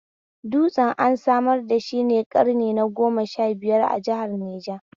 Dutsen an samar dashi ne ƙarni na goma sha biyar, a jihar Niger